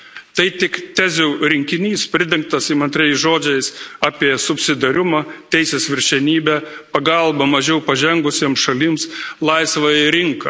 Tai tik tezių rinkinys, pridengtas įmantriais žodžiais apie subsidiarumą, teisės viršenybę, pagalbą mažiau pažengusiems šalims, laisvąją rinką.